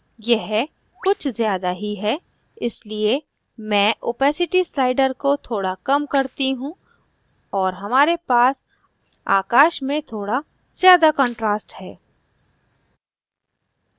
यह कुछ ज़्यादा ही है इसलिए मैं opacity slider को थोड़ा कम करती हूँ और हमारे पास आकाश में थोड़ा ज़्यादा contrast है